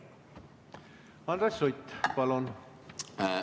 Andres Sutt, palun!